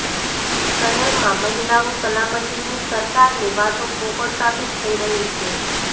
શહેરમાં મહિલાઓ સલામતની સરકારની વાતો પોકળ સાબીત થઇ રહી છે